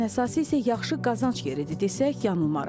Ən əsası isə yaxşı qazanc yeridir desək yanılmarıq.